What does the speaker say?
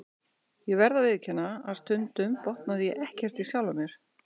Ég verð að viðurkenna að stundum botnaði ég ekkert í sjálfum mér.